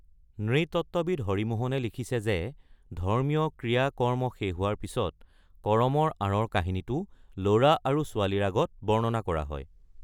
নৃতত্ত্ববিদ হৰি মোহনে লিখিছে যে ধৰ্মীয় ক্ৰিয়া-কৰ্ম শেষ হোৱাৰ পিছত, কৰমৰ আঁৰৰ কাহিনীটো ল'ৰা আৰু ছোৱালীৰ আগত বৰ্ণনা কৰা হয়।